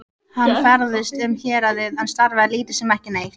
Hann ferðaðist um héraðið en starfaði lítið sem ekki neitt.